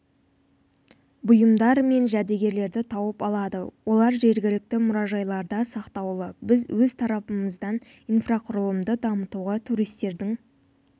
бұйымдар мен жәдігерлерді тауып алады олар жергілікті мұражайларда сақтаулы біз өз тарапымыздан инфрақұрылымды дамытуға туристердің